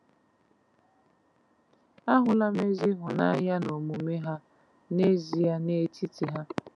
A hụla m ezi ịhụnanya n'omume ha n’ezie n’etiti ha.